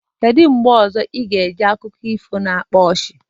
Kedu mgbe ị ga-ege akụkọ ifo ọzọ na-akpa ọchị?